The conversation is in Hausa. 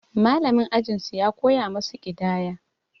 Mallamin ajin su ya koya masu ƙidaya.